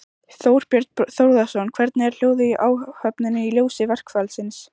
Þorbjörn Þórðarson: Hvernig er hljóðið í áhöfninni í ljósi verkfallsins?